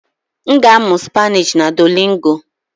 M ga-amụ Spanishi na Duolingo.